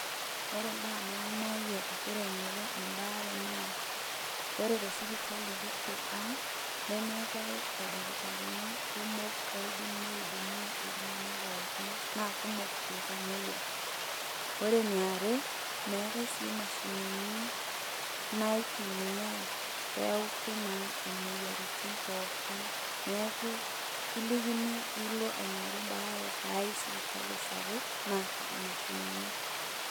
Ore imbaa naimayie agira aing'oru embaare naa, ore tesipitali kiti ang', nemeetae ildakitarini kumok oidim ni hudumia iltung'anak pookin, na kumok iltamoyia. Ore eniare, meetae si imashinini naitumiai peutu naa imoyiaritin pookin. Neeku, kilikini nilo aing'oru baare tai sipitali sapuk, naata mashinini.